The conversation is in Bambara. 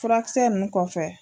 Furakisɛ nunnu kɔfɛ